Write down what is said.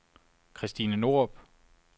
Christine Norup